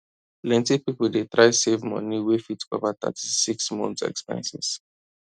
plenty people dey try save money wey fit cover 36 months expenses